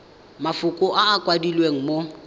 mafoko a a kwadilweng mo